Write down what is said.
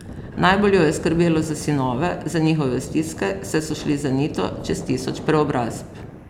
Najbolj jo je skrbelo za sinove, za njihove stiske, saj so šli z Anito čez tisoč preobrazb.